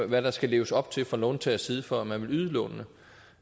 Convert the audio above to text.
hvad der skal leves op til fra låntagers side for at man vil yde lånene